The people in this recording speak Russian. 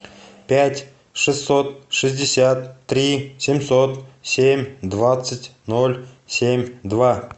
пять шестьсот шестьдесят три семьсот семь двадцать ноль семь два